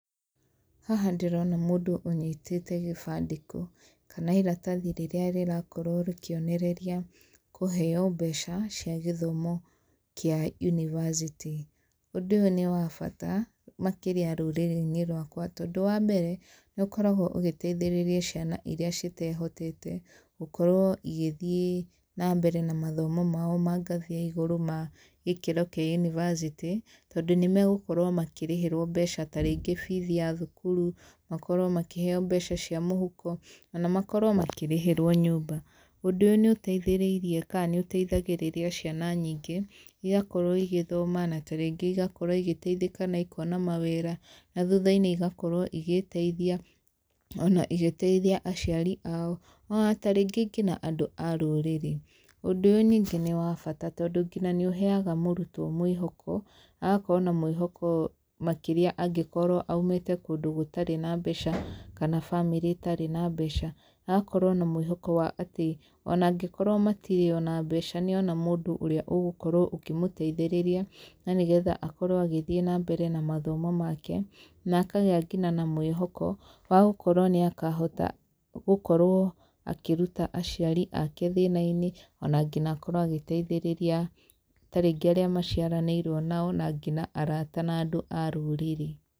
Haha ndĩrona mũndũ ũnyitĩte gĩbandĩko, kana iratathi rĩrĩa rĩrakorwo rĩkĩonereria kũheyo mbeca cia gĩthomo kĩa yunibacĩtĩ, ũndũ ũyũ nĩ wabata makĩria rũrĩrĩ-inĩ rwakwa tondũ wa mbere, nĩ ũkoragwo ũgĩteithĩrĩria ciana iria citehotete gũkorwo igĩthiĩ nambere na mathomo mao mangathĩ ya igũrũ, magĩkĩro kĩa yunibacĩtĩ, tondũ nĩ megũkorwo makĩrĩhĩrwo mbeca tarĩngĩ bithi ya thukuru, makorwo makĩheyo mbeca cia mũhuko, ona makorwo makĩrĩhĩrwo nyũmba, ũndũ ũyũ nĩ ũteithĩrĩirie ka nĩ ũteithagĩrĩria ciana nyingĩ , igakorwo igĩthoma na taringĩ ĩgakorwo igĩteithĩka naikona mawĩra, na thutha-inĩ igakorwo igĩteithia ona igĩteithia aciari ao, ona tarĩngĩ ngina andũ a rũrĩrĩ, ũndũ ũyũ nyingĩ nĩ wa bata tondũ, ngina nĩ ũheyaga mũrutwo mwĩhoko, agakorwo na mwĩhoko makĩria angĩkorwo aimĩte kũndũ gũtarĩ na mbeca, kana bamĩrĩ ĩtarĩ na mbeca, na agakorwo na mwĩhoko wa atĩ ona angĩkorwo o matirĩ na mbeca nĩona mũndũ ũrĩa ũgũkorwo akĩmũteithĩrĩria na nĩ getha akorwo agĩthiĩ na mbere na mathomo make, na akagĩa ngina na mwĩhoko wa gũkorwo nĩakahota gũkorwo akĩruta aciari ake thĩna-inĩ, ona ngina akorwo agĩteithĩrĩria tarĩngĩ arĩa maciaranĩrwo nao, na ngina arata nandũ a rũrĩrĩ.